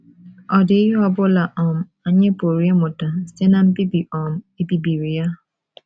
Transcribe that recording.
Ọ̀ dị ihe ọ bụla um anyị pụrụ ịmụta site ná mbibi um e bibiri ya?